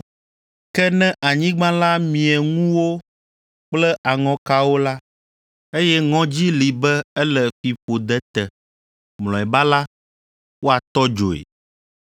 Ke ne anyigba la mie ŋuwo kple aŋɔkawo la, meganyo na naneke o, eye ŋɔdzi li be ele fiƒode te. Mlɔeba la, woatɔ dzoe.